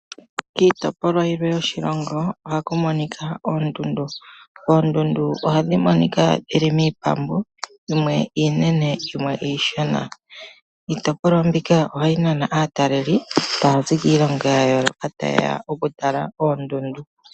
Kiitopolwa yilwe yoshilongo ohaku monika oondundu. Oondundu ihadhi monika dhili miipambu yimwe iinene yimwe iishona. Iitopolwa mbika ohayi nana aatalelipo okuza kiilongo yimwe ta yeya okutala oondundu.